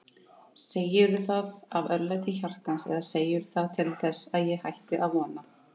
Segirðu það af örlæti hjartans eða segirðu það til þess ég hætti að vona.